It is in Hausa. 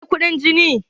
waye ya yi kuɗin jini?